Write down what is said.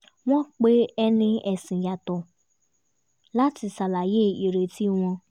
wọ́n pe ẹni ẹ̀sìn yàtọ̀ láti ṣàlàyé ireti wọn